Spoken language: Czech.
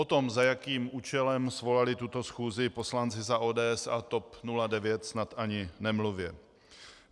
O tom, za jakým účelem svolali tuto schůzi poslanci za ODS a TOP 09, snad ani nemluvě.